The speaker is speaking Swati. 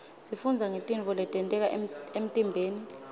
sifundza ngetintfo letenteka emtiimbeni